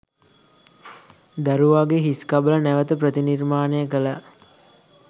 දරුවාගේ හිස්කබල නැවත ප්‍රතිනිර්මාණය කළා.